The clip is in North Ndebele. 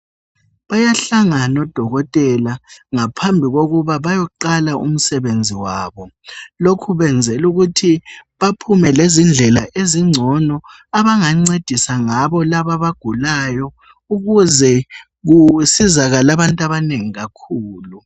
Bayahlangana odokotela ngaphambikokuba bayoqala umsebenzi wabo. Lokhu kwenzelukuthi baphume lezindlela ezingcono abangancedisa ngabo labo abagulayo ,ukuze kusizakale abantu abanengi kakhulu.